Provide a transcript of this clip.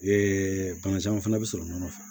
bagazanw fana bi sɔrɔ nɔnɔ fɛ